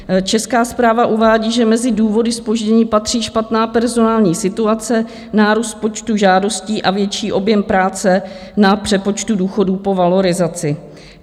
Česká správa uvádí, že mezi důvody zpoždění patří špatná personální situace, nárůst počtu žádostí a větší objem práce na přepočtu důchodů po valorizaci.